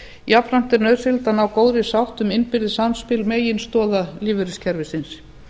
jafnframt er nauðsynlegt að ná góðri sátt um innbyrðis samspil meginstoða lífeyriskerfisins